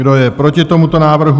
Kdo je proti tomuto návrhu?